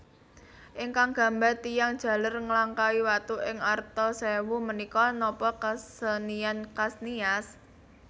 Ingkang gambar tiyang jaler nglangkahi watu ing arta sewu menika nopo kesenian khas Nias?